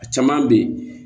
A caman bɛ ye